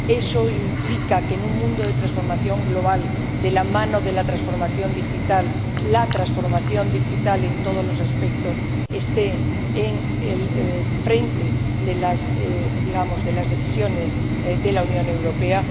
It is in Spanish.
esto implica que en un mundo de transformación global, de la mano de la transformación digital, la transformación digital en todos los aspectos esté al frente de las —digamos— de las decisiones de la Unión Europea.